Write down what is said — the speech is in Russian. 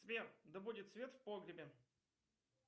сбер да будет свет в погребе